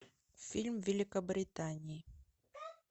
фильм великобритании